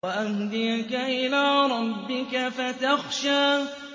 وَأَهْدِيَكَ إِلَىٰ رَبِّكَ فَتَخْشَىٰ